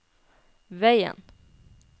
veien